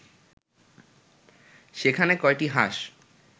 সেখানে কয়টি হাঁস